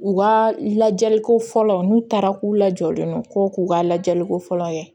U ka lajɛliko fɔlɔ n'u taara k'u lajɔlen don ko k'u ka lajɛliko fɔlɔ kɛ